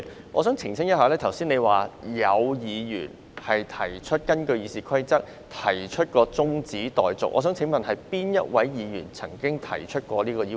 我想澄清一下，你剛才說，有議員根據《議事規則》要求動議中止待續議案，我想請問哪位議員曾經提出這項要求？